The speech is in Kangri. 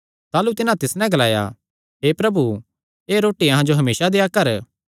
ताह़लू तिन्हां तिस नैं ग्लाया हे प्रभु एह़ रोटी अहां जो हमेसा देआ कर